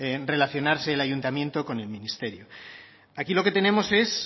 relacionarse el ayuntamiento con el ministerio aquí lo que tenemos es